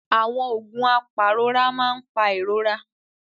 Àwọn oògùn apàrora máa ń pa ìrora.